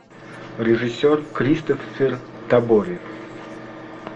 режиссер кристоффер табори